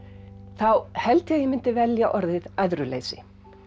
þá held ég að ég myndi velja orðið æðruleysi